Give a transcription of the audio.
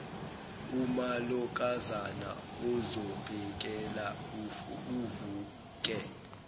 umalokazana ozomphekela uvuke